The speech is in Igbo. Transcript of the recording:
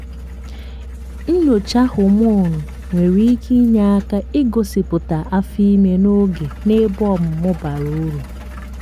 nnyocha homonụ nwere ike inye aka i gosipụta afọ ime n'oge n'ebe ọmụmụ bara uru.